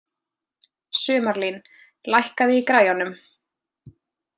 Sumarlín, lækkaðu í græjunum.